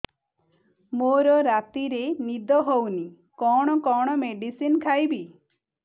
ମୋର ରାତିରେ ନିଦ ହଉନି କଣ କଣ ମେଡିସିନ ଖାଇବି